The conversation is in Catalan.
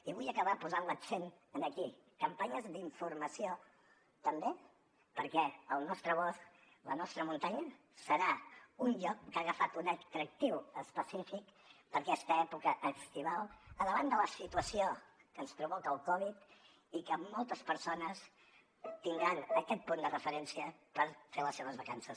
i vull acabar posant l’accent aquí campanyes d’informació també perquè el nostre bosc la nostra muntanya serà un lloc que ha agafat un atractiu específic per a aquesta època estival al davant de la situació que ens provoca el covid i que moltes persones tindran aquest punt de referència per fer les seves vacances